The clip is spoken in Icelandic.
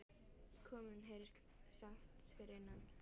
Kom inn, heyrðist sagt fyrir innan.